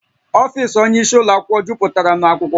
Ọfiisi onye isi ụlọ akwụkwọ juputara na akwụkwọ